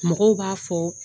Mɔgɔw b'a fo